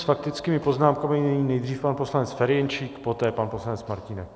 S faktickými poznámkami nejdřív pan poslanec Ferjenčík, poté pan poslanec Martínek.